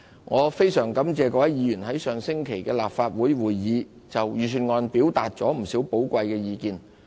我非常感謝各位議員在上星期的立法會會議就預算案表達了不少寶貴意見。